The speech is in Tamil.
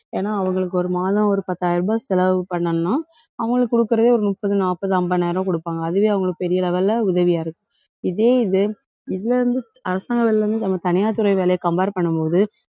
ஏன்னா, அவங்களுக்கு ஒரு மாதம் ஒரு பத்தாயிரம் ரூபாய் செலவு பண்ணோம்னா அவங்களுக்கு கொடுக்கிறதே ஒரு முப்பது, நாற்பது, ஐம்பதாயிரம் கொடுப்பாங்க. அதுவே அவங்களுக்கு பெரிய level ல உதவியா இருக்கு. இதே இது, இதுல இருந்து அரசாங்க வேலையில இருந்து நம்ம தனியார் துறை வேலையை compare பண்ணும் போது,